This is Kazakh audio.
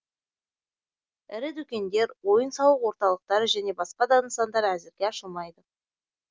ірі дүкендер ойын сауық орталықтары және басқа да нысандар әзірге ашылмайды